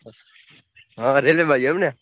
હ railway બાજુ એમ ને?